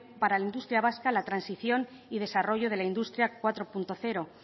para la industria vasca la transición y desarrollo de la industria cuatro punto cero